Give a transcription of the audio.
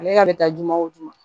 Ale ka bɛ taa jumɛn wo jumɛn